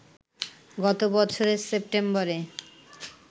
গত বছরের সেপ্টেম্বরে